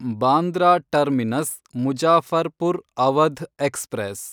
Bandra Terminus Muzaffarpur Awadh express